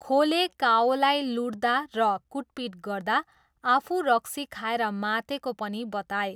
खोले काओलाई लुट्दा र कुटपिट गर्दा आफू रक्सी खाएर मातेको पनि बताए।